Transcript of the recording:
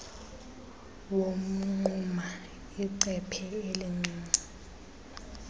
womnquma icephe elincinci